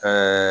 Ka